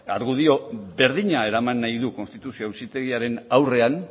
argudio berdina eraman nahi du konstituzio auzitegiaren aurrean